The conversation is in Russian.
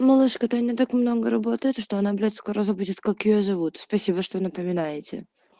это не так много работаю то что она будет скоро забудет как её зовут спасибо что напоминаете